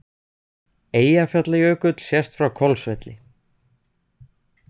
Eyjafjallajökull sést frá Hvolsvelli.